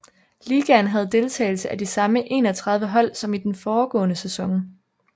Ligaen havde deltagelse af de samme 31 hold som i den foregående sæson